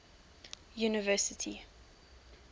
university